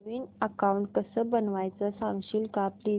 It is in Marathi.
नवीन अकाऊंट कसं बनवायचं सांगशील का प्लीज